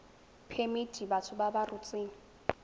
phemiti batho ba ba rotseng